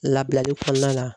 Labilali kɔnɔna la